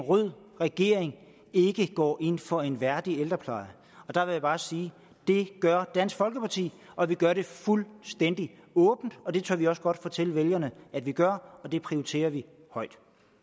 en rød regering ikke går ind for en værdig ældrepleje og der vil jeg bare sige det gør dansk folkeparti og vi gør det fuldstændig åbent og det tør vi også godt fortælle vælgerne at vi gør og det prioriterer vi højt